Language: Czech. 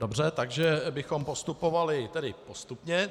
Dobře, takže bychom postupovali tedy postupně.